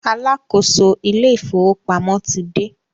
Alákóso ilé ìfọwọ́pamo ti dé.